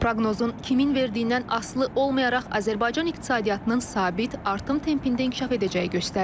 Proqnozun kimin verdiyindən asılı olmayaraq Azərbaycan iqtisadiyyatının sabit artım tempində inkişaf edəcəyi göstərilir.